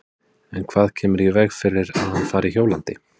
En hvað kemur í veg fyrir að hann fari hjólandi?